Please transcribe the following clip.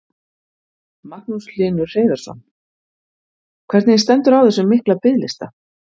Magnús Hlynur Hreiðarsson: Hvernig stendur á þessum mikla biðlista?